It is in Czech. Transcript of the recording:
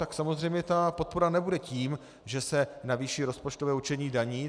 Tak samozřejmě ta podpora nebude tím, že se navýší rozpočtové určení daní.